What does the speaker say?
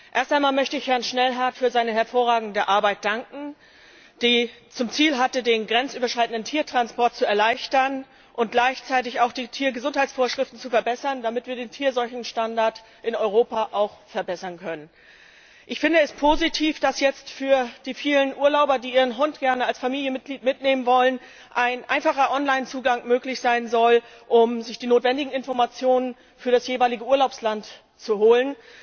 Erst einmal möchte ich Herrn Schnellhardt für seine hervorragende Arbeit danken, die zum Ziel hatte, den grenzüberschreitenden Tiertransport zu erleichtern und gleichzeitig auch die Tiergesundheitsvorschriften zu verbessern, damit wir den Tierseuchenstandard in Europa auch verbessern können. Ich finde es positiv, dass jetzt für die vielen Urlauber, die ihren Hund gerne als Familienmitglied mitnehmen wollen, ein einfacher Online Zugang möglich sein soll, um sich dich notwendigen Informationen für das jeweilige Urlaubsland zu holen.